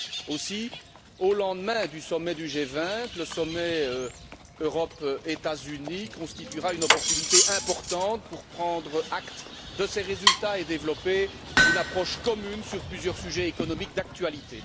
Aussi, au lendemain du sommet du G20, le sommet Europe États Unis constituera une opportunité importante pour prendre acte de ces résultats et développer une approche commune sur plusieurs sujets économiques d'actualité.